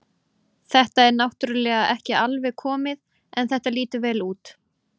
Þetta er náttúrulega ekki alveg komið en þetta lýtur vel út.